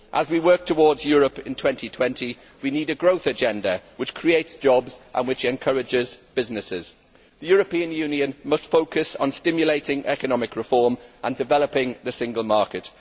As we work towards Europe in 2020 we need a growth agenda which creates jobs and which encourages businesses. The European Union must focus on stimulating economic reform and developing the single market.